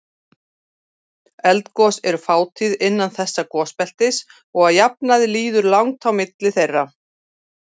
Eldgos eru fátíð innan þessa gosbeltis og að jafnaði líður langt á milli þeirra.